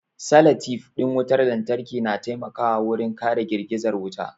Salatif ɗin wutar lantarki na taimakawa wurin kare girgizar wuta